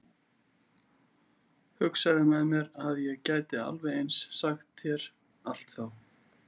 Hugsaði með mér að ég gæti alveg eins sagt þér allt þá.